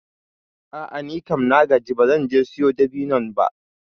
A'a nikam na gaji ba zan je siyo dabinon ba.